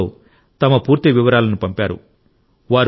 మైగవ్లో తమ పూర్తి వివరాలను పంపారు